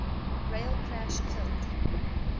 rail crash killed